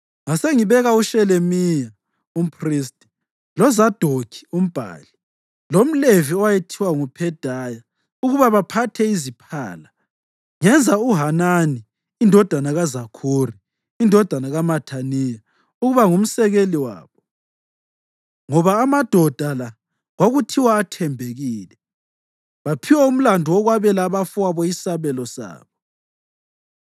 Ngasengibeka uShelemiya umphristi, loZadokhi umbhali, lomLevi owayethiwa nguPhedaya ukuba baphathe iziphala, ngenza uHanani indodana kaZakhuri, indodana kaMathaniya, ukuba ngumsekeli wabo, ngoba amadoda la kwakuthiwa athembekile. Baphiwa umlandu wokwabela abafowabo isabelo sabo.